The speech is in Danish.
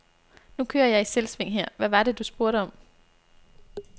Nu kører jeg i selvsving her, hvad var det, du spurgte om?